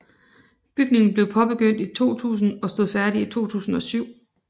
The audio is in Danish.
Bygningen blev påbegyndt i 2000 og stod færdig i 2007